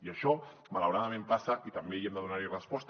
i això malauradament passa i també hi hem de donar resposta